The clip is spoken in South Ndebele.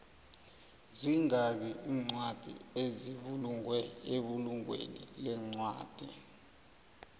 zingaki incwadi ezibulungwe ebulungweni lencwadi